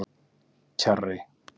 Kjarri